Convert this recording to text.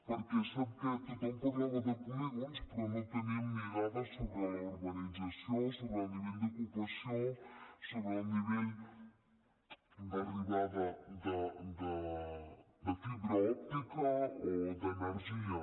per què sap què tothom parlava de polígons però no teníem ni dades sobre la urbanització sobre el nivell d’ocupació sobre el nivell d’arribada de fibra òptica o d’energia